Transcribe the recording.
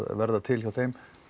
verði til hjá þeim